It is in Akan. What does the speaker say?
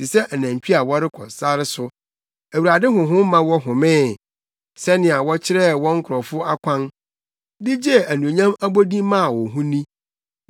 te sɛ anantwi a wɔkɔ sare so, Awurade Honhom ma wɔhomee. Sɛnea wokyerɛɛ wo nkurɔfo kwan de gyee anuonyam abodin maa wo ho ni.